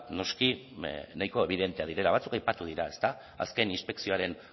noski nahiko ebidenteak direla batzuk aipatu dira ezta azken inspekzioaren